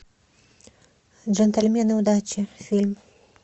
джентльмены удачи фильм